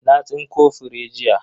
Na tsinko fure jiya.